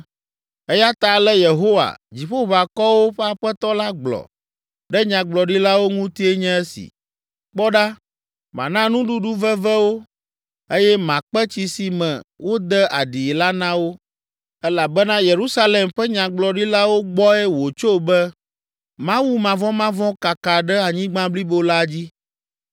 Eya ta ale Yehowa, Dziƒoʋakɔwo ƒe Aƒetɔ la gblɔ ɖe nyagblɔɖilawo ŋutie nye esi: “Kpɔ ɖa, mana nuɖuɖu veve wo eye makpe tsi si me wode aɖii la na wo elabena Yerusalem ƒe nyagblɔɖilawo gbɔe wòtso be, mawumavɔmavɔ̃ kaka ɖe anyigba blibo la dzi.”